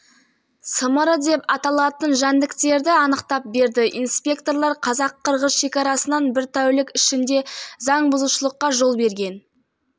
осындай көлікті ұстады нәтижесінде тонна картоп тонна жүзім мен жарым тонна алманы кері қайтарды жалпы